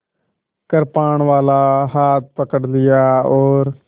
कृपाणवाला हाथ पकड़ लिया और